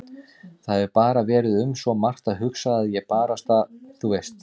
Það hefur bara verið um svo margt að hugsa að ég barasta. þú veist.